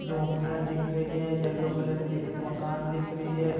झोपड़िया दिख रही है एक येलो कलर का मकान दिख रहा है।